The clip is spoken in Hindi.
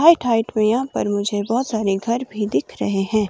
हाइट हाइट में यहां पर मुझे बहुत सारे घर भी दिख रहे हैं।